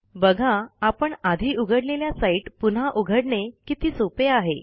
बघा आपण आधी उघडलेल्या साईट पुन्हा उघडणे किती सोपे आहे